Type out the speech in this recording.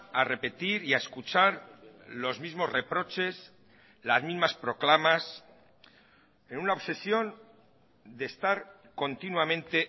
a repetir y a escuchar los mismos reproches las mismas proclamas en una obsesión de estar continuamente